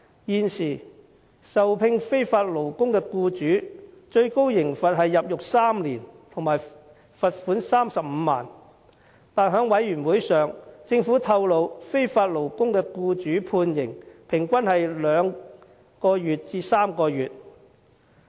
現時聘用非法勞工的僱主最高刑罰是入獄3年及罰款35萬元，但政府在事務委員會會議上透露，聘用非法勞工的僱主的判刑平均是2至3個月。